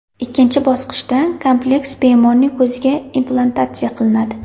Ikkinchi bosqichda kompleks bemorning ko‘ziga implantatsiya qilinadi.